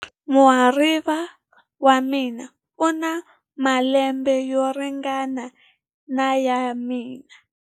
Muhariva wa mina u na malembe yo ringana na ya mina.